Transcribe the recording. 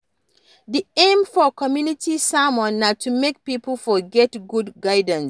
Di aim for community sermon na to make pipo for get good guidance